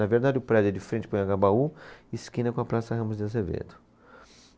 Na verdade, o prédio é de frente para o Anhangabaú, esquina com a Praça Ramos de Azevedo.